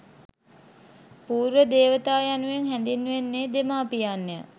පූර්ව දේවතා යනුවෙන් හැඳින්වෙන්නේ දෙමාපියන් ය.